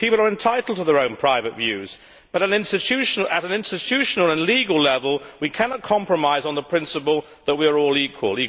People are entitled to their own private views, but at an institutional and legal level, we cannot compromise on the principle that we are all equal.